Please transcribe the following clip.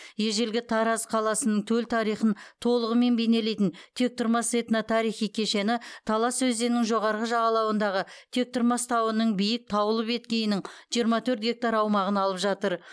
ежелгі тараз қаласының төл тарихын толығымен бейнелейтін тектұрмас этно тарихи кешені талас өзенінің жоғарғы жағалауындағы тектұрмас тауының биік таулы беткейінің жиырма төрт гектар аумағын алып жатыр